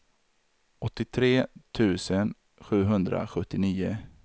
åttiotre tusen sjuhundrasjuttionio